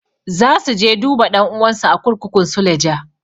Za su je duba ɗan'uwansu a kurkukun suleja.